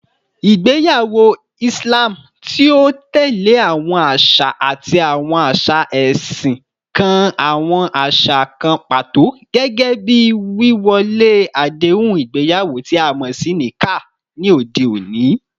Igbeyawo Islam, ti o tẹle awọn aṣa ati awọn aṣa ẹsin, kan awọn aṣa kan pato, gẹgẹbi wíwọlé adehun igbeyawo ti a mọ si 'Nikah,' ni ode oni.